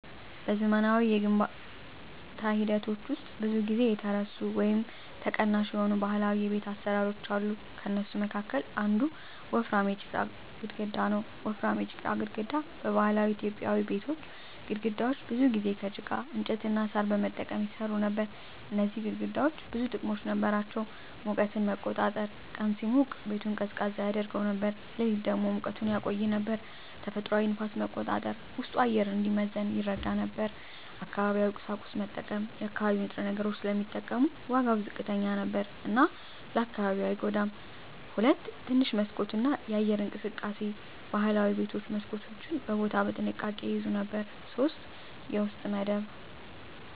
በዘመናዊ የግንባታ ሂደቶች ውስጥ ብዙ ጊዜ የተረሱ ወይም ተቀናሽ የሆኑ ባህላዊ የቤት አሰራሮች አሉ። ከእነሱ መካከል አንዱ ወፍራም የጭቃ ግድግዳ ነው። 1. ወፍራም የጭቃ ግድግዳ በባህላዊ ኢትዮጵያዊ ቤቶች ግድግዳዎች ብዙ ጊዜ ከጭቃ፣ እንጨት እና ሣር በመጠቀም ይሰሩ ነበር። እነዚህ ግድግዳዎች ብዙ ጥቅሞች ነበራቸው፦ ሙቀትን መቆጣጠር – ቀን ሲሞቅ ቤቱን ቀዝቃዛ ያደርገው ነበር፣ ሌሊት ደግሞ ሙቀቱን ያቆይ ነበር። ተፈጥሯዊ ንፋስ መቆጣጠር – ውስጡ አየር እንዲመዘን ይረዳ ነበር። አካባቢያዊ ቁሳቁስ መጠቀም – የአካባቢ ንጥረ ነገሮች ስለሚጠቀሙ ዋጋው ዝቅተኛ ነበር እና ለአካባቢው አይጎዳም። 2. ትንሽ መስኮት እና የአየር እንቅስቃሴ ባህላዊ ቤቶች መስኮቶችን በቦታ በጥንቃቄ ይያዙ ነበር። 3. የውስጥ መደብ